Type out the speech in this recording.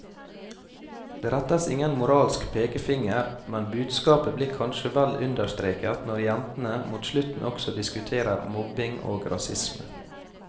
Det rettes ingen moralsk pekefinger, men budskapet blir kanskje vel understreket når jentene mot slutten også diskuterer mobbing og rasisme.